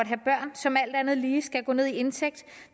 som alt andet lige skal gå ned i indtægt